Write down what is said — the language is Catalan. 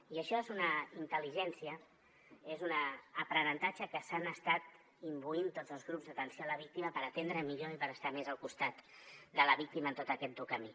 i això és una intel·ligència és un aprenentatge de què s’han estat imbuint tots els grups d’atenció a la víctima per atendre millor i per estar més al costat de la víctima en tot aquest dur camí